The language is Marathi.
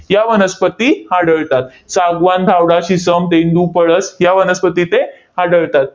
या वनस्पती आढळतात. सागवान, धावडा, शिसम, तेंदू, पळस या वनस्पती इथे आढळतात.